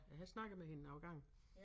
Jeg har snakket med hende nogle gange